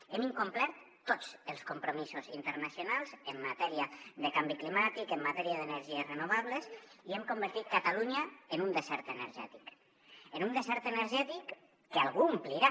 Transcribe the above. hem incomplert tots els compromisos internacionals en matèria de canvi climàtic en matèria d’energies renovables i hem convertit catalunya en un desert energètic en un desert energètic que algú omplirà